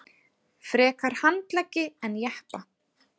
Frekar handleggi en jeppa